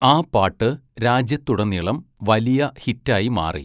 ആ പാട്ട് രാജ്യത്തുടനീളം വലിയ ഹിറ്റായി മാറി.